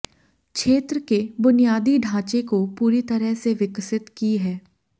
क्षेत्र के बुनियादी ढांचे को पूरी तरह से विकसित की है